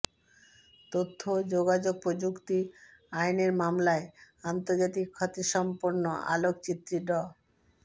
তথ্য ও যোগাযোগ প্রযুক্তি আইনের মামলায় আন্তর্জাতিক খ্যাতিসম্পন্ন আলোকচিত্রী ড